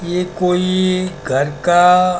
ये कोई घर का--